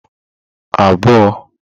abụọ